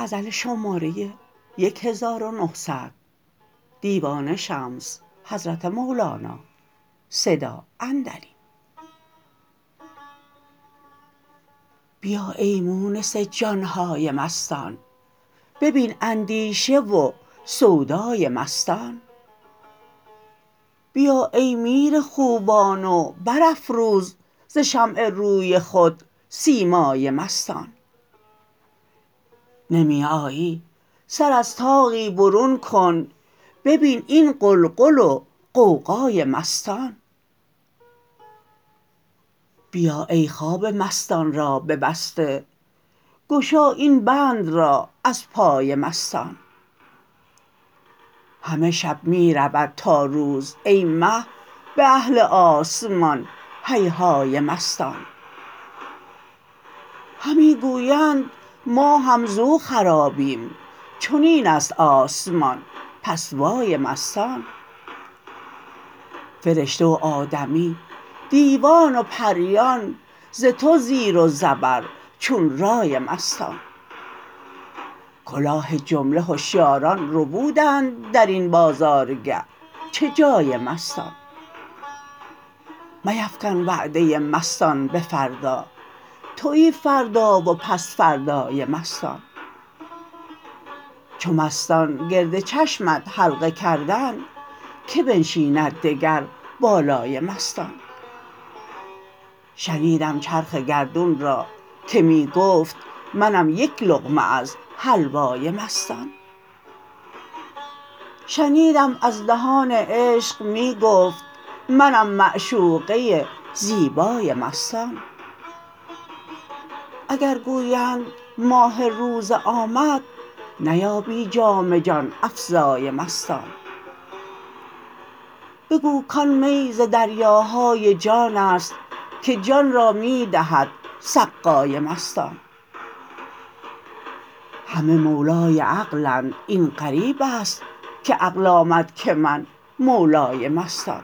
بیا ای مونس جان های مستان ببین اندیشه و سودای مستان بیا ای میر خوبان و برافروز ز شمع روی خود سیمای مستان نمی آیی سر از طاقی برون کن ببین این غلغل و غوغای مستان بیا ای خواب مستان را ببسته گشا این بند را از پای مستان همه شب می رود تا روز ای مه به اهل آسمان هیهای مستان همی گویند ما هم زو خرابیم چنین است آسمان پس وای مستان فرشته و آدمی دیوان و پریان ز تو زیر و زبر چون رای مستان کلاه جمله هشیاران ربودند در این بازارگه چه جای مستان میفکن وعده مستان به فردا توی فردا و پس فردای مستان چو مستان گرد چشمت حلقه کردند کی بنشیند دگر بالای مستان شنیدم چرخ گردون را که می گفت منم یک لقمه از حلوای مستان شنیدم از دهان عشق می گفت منم معشوقه زیبای مستان اگر گویند ماه روزه آمد نیابی جام جان افزای مستان بگو کان می ز دریاهای جان است که جان را می دهد سقای مستان همه مولای عقلند این غریب است که عقل آمد که من مولای مستان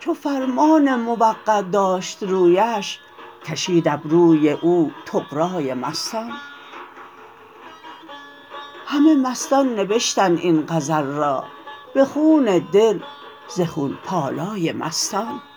چو فرمان موقع داشت رویش کشید ابروی او طغرای مستان همه مستان نبشتند این غزل را به خون دل ز خون پالای مستان